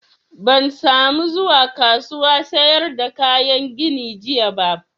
Ban sa mu zuwa kasuwan sayar da kayan gini jiya ba